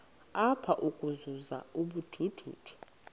apha ukuzuza ubujuju